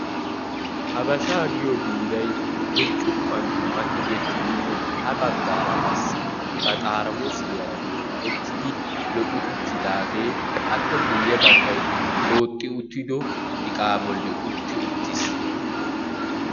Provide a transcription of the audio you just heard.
Habashsha giyo biiray burccukuwa dumma tiggetidimne ha baggaara qassi ba xaraamussiyara qumu'ttidi lo"i uttidaage appe guyye baggay booxxi uttido iqqa bolli utti uttiis.